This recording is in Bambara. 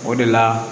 O de la